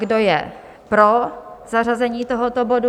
Kdo je pro zařazení tohoto bodu?